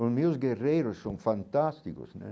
Os meus guerreiros são fantásticos né.